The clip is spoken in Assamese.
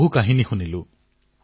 বহু কাহিনী শুনিলো